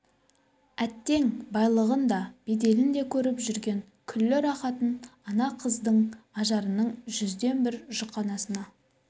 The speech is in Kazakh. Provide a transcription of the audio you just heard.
әттең байлығын да беделін де көріп жүрген күллі рахатын ана қыздың ажарының жүзден бір жұқанасына